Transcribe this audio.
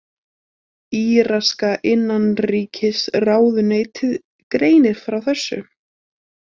Íraska innanríkisráðuneytið greinir frá þessu